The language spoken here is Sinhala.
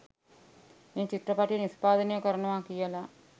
මේ චිත්‍රපටය නිෂ්පාදනය කරනවා කියලා.